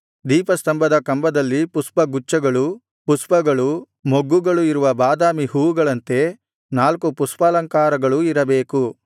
ದೀಪಸ್ತಂಭದ ಕಂಬದಲ್ಲಿ ಪುಷ್ಪಗುಚ್ಛಗಳೂ ಪುಷ್ಪಗಳೂ ಮೊಗ್ಗುಗಳು ಇರುವ ಬಾದಾಮಿ ಹೂವುಗಳಂತೆ ನಾಲ್ಕು ಪುಷ್ಪಾಲಂಕಾರಗಳೂ ಇರಬೇಕು